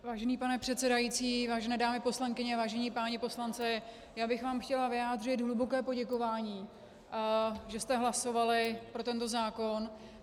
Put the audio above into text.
Vážený pane předsedající, vážené dámy poslankyně, vážení páni poslanci, já bych vám chtěla vyjádřit hluboké poděkování, že jste hlasovali pro tento zákon.